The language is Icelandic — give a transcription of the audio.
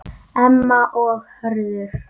Emma og Hörður.